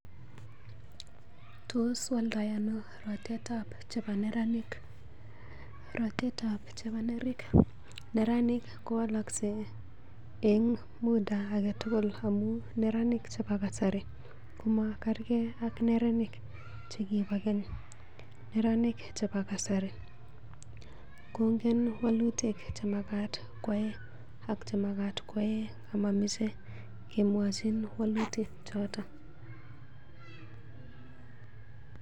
Tos waldai ano rotetab chebo neranik? Rotetab chebo neranik kowoloksei en muda age tugul amun neranik chebo kasari kamakerge ak neranik che kibo keny. Neranik chebo kasari kong'en walutik chemagat koyai ak chemamagat koyae amamache kemwochin walutik choton.